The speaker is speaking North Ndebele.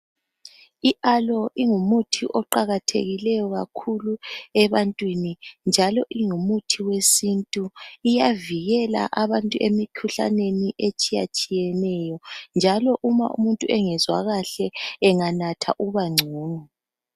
IAloe ingumuthi oqakathekileyo kakhulu ebantwini njalo ingumuthi wesintu. Iyavikela abantu emikhuhlaneni etshiyatshiyeneyo. Njalo uma umuntu engezwa kahle, enganatha ubangcono.